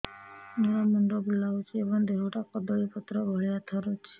ମୋର ମୁଣ୍ଡ ବୁଲାଉଛି ଏବଂ ଦେହଟା କଦଳୀପତ୍ର ଭଳିଆ ଥରୁଛି